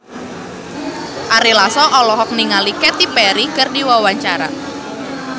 Ari Lasso olohok ningali Katy Perry keur diwawancara